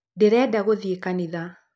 Ndĩrenda gũthiĩ kanitha.